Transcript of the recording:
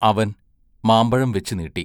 അവൻ മാമ്പഴം വെച്ചു നീട്ടി.